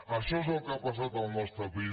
això és el que ha passat al nostre país